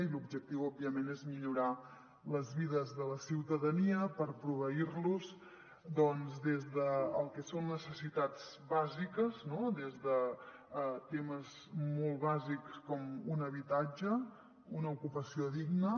i l’objectiu òbviament és millorar les vides de la ciu·tadania per proveir·los des del que són necessitats bàsiques no des de temes molt bàsics com un habitatge una ocupació digna